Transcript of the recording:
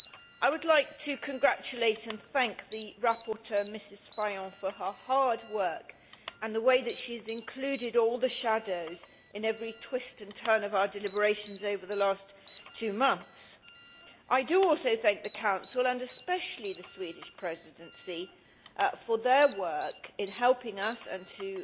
I would like to congratulate and thank the rapporteur, Mrs Fajon, for her hard work and the way that she has included all the nuances in every twist and turn of her deliberations over the last two months. I do also thank the Council, and especially the Swedish Presidency, for their work in helping us